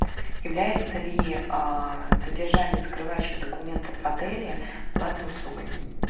является ли содержание закрывающих документов в отеле платной услугой